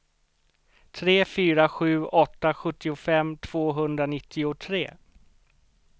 tre fyra sju åtta sjuttiofem tvåhundranittiotre